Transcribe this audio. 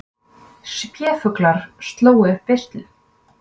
Spéfuglar slógu upp veislu